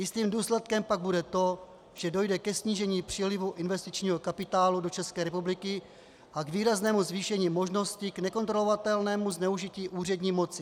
Jistým důsledkem pak bude to, že dojde ke snížení přílivu investičního kapitálu do České republiky a k výraznému zvýšení možnosti k nekontrolovatelnému zneužití úřední moci.